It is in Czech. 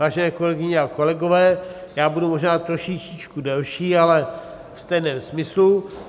Vážené kolegyně a kolegové, já budu možná trošičičku delší, ale ve stejném smyslu.